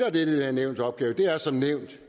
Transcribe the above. er dette nævns opgave